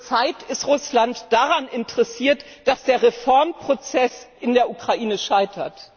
Zurzeit ist Russland daran interessiert, dass der Reformprozess in der Ukraine scheitert.